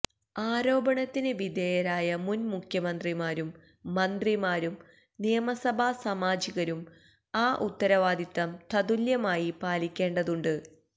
ആരോപണത്തിന് വിധേയരായ മുൻ മുഖ്യമന്ത്രിമാരും മന്ത്രിമാരും നിയമസഭാ സാമാജികരും ആ ഉത്തരവാദിത്വം തത്തുല്യമായി പാലിക്കേണ്ടതുണ്ട്